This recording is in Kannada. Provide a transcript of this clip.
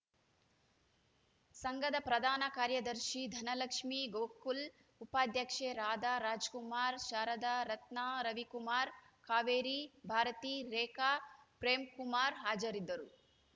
ಸಂಘದ ಪ್ರಧಾನ ಕಾರ್ಯದರ್ಶಿ ಧನಲಕ್ಷ್ಮೀ ಗೋಕುಲ್‌ ಉಪಾಧ್ಯಕ್ಷೆ ರಾಧಾ ರಾಜ್‌ಕುಮಾರ್‌ ಶಾರದ ರತ್ನ ರವಿಕುಮಾರ್‌ ಕಾವೇರಿ ಭಾರತಿ ರೇಖಾ ಪ್ರೇಂಕುಮಾರ್‌ ಹಾಜರಿದ್ದರು